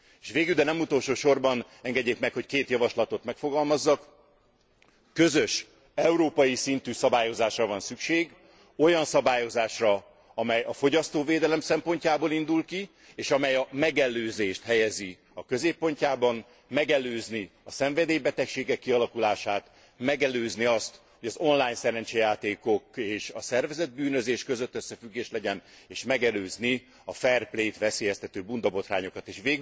S végül, de nem utolsósorban, engedjék meg, hogy két javaslatot megfogalmazzak. Közös, európai szintű szabályozásra van szükség, olyan szabályozásra, amely a fogyasztóvédelem szempontjából indul ki, és amely a megelőzést helyezi a középpontjába megelőzni a szenvedélybetegségek kialakulását, megelőzni azt, hogy az online szerencsejátékok és a szervezett bűnözés között összefüggés legyen és megelőzni a fair play t veszélyeztető bundabotrányokat is.